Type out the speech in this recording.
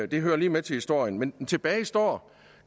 det hører lige med til historien men tilbage står